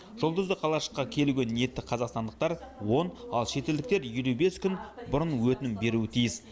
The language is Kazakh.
жұлдызды қалашыққа келуге ниетті қазақстандықтар он ал шетелдіктер елу бес күн бұрын өтінім беруі тиіс